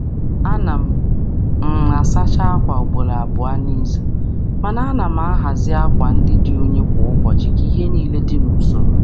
A na m asacha akwa ugboro abụọ n’izu, ma na-ahazi akwa dị ọcha kwa ụbọchị ka ihe dị n’usoro.